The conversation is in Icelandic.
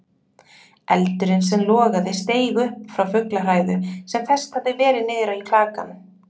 Eldurinn sem logaði steig upp frá fuglahræðu sem fest hafði verið niður í klakann.